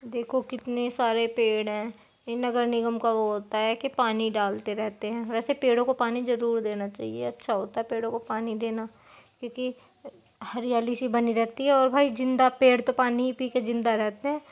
देखो कितने सारे पेड़ हैं। इन नगर निगम का वो होता है कि पानी डालते रहते हैं। वेसे पेड़ो को पानी जरुर देना चाहिए अच्छा होता है पेड़ो को पानी देना क्योंकि हरियाली-सी बनी रहती है और भाई जिन्दा पेड़ तो पानी ही पीके जिन्दा रहते हैं।